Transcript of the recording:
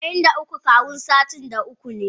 Saba'in da uku Kawun sitin da tara ne.